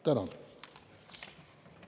Tänan!